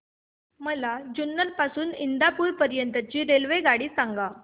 मला जुन्नर पासून तर इंदापूर पर्यंत ची रेल्वेगाडी सांगा